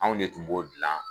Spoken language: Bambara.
Anw de tun b'o gilan